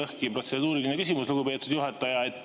Mul on läbi ja lõhki protseduuriline küsimus, lugupeetud juhataja.